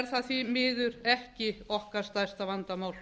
er það því miður ekki okkar stærsta vandamál